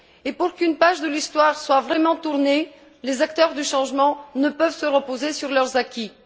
Et pour qu'une page de l'histoire soit vraiment tournée, les acteurs du changement ne peuvent se reposer sur leurs acquis.